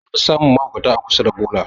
An fi samun mahaukata a kusa da bola